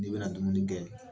N'i bɛna dumuni kɛ